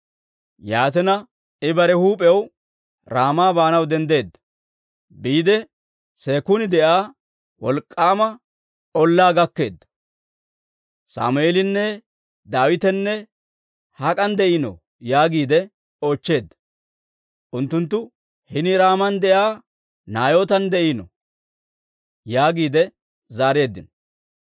Yaatina, I bare huup'iyaw Raama baanaw denddeedda; biide Seekun de'iyaa wolk'k'aama ollaa gakkeedda; «Sammeelinne Daawitenne hak'an de'iinoo?» yaagiide oochcheedda. Unttunttu, «Hini Raaman de'iyaa Naayootan de'iino» yaagiide zaareeddino.